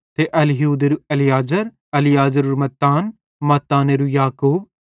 ते एलीहूदेरू एलीआजार एलीआजारेरू मत्तान मत्तानेरू याकूब